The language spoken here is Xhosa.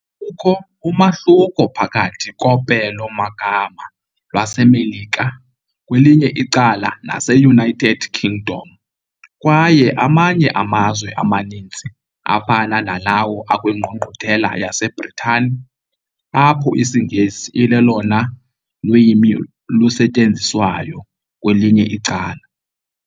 Kukho umahluko phakathi kopelo-magama lwaseMelika kwelinye icala naseUnited Kingdom kwaye amanye amazwe amaninzi, afana nalawo akwingqungquthela yaseBritane, apho isiNgesi ilolona lwimi lusetyenziswayo kwelinye icala.